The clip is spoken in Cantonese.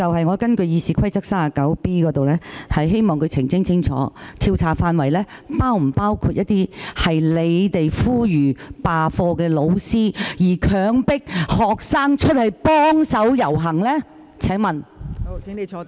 我根據《議事規則》第 39b 條，希望他澄清有關調查範圍，是否包括呼籲罷課、強迫學生出去遊行的教師。